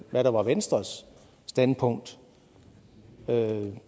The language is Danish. hvad der var venstres standpunkt